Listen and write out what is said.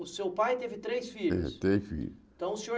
O seu pai teve três filhos? E três filhos Então o senhor